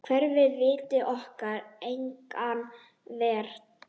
Kerfið veitir okkur enga vernd.